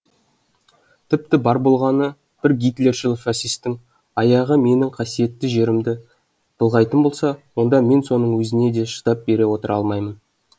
тіпті бар болғаны бір гитлершіл фашистің аяғы менің қасиетті жерімді былғайтын болса онда мен соның өзіне де шыдап отыра алмаймын